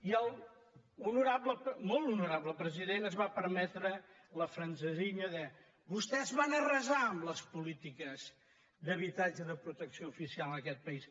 i el molt honorable president es va permetre la francesilla de vostès van arrasar les polítiques d’habitatge de protecció oficial en aquest país